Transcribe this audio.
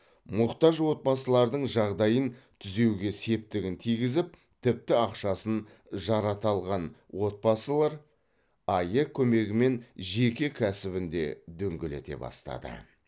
мұқтаж отбасылардың жағдайын түзеуге септігін тигізіп тіпті ақшасын жарата алған отбасылар аәк көмегімен жеке кәсібін де дөңгелете бастады